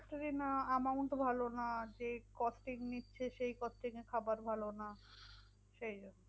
যদি না amount ও ভালো না যেই costing নিচ্ছে, সেই costing এ খাবার ভালো না, সেই জন্য।